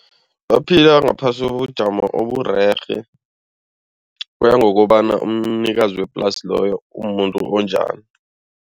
Baphila ngaphasi kobujamo oburerhe, kuya ngokobana umnikazi weplasi loyo umumuntu onjani.